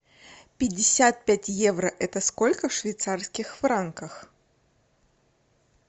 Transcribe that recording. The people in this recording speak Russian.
пятьдесят пять евро это сколько в швейцарских франках